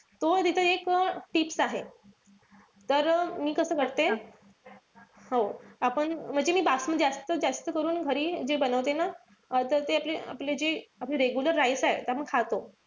तो तिथं एक tips आहे. तर मी कसं करते. हो आपण म्हणजे मी बासमती जास्तीत जास्त करून घरी जे बनवते ना त ते आपले जे आपले regular rice आहे. त आपण खातो.